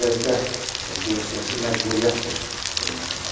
Bir az da geosiyasi məcburiyyətdir Ermənistan üçün.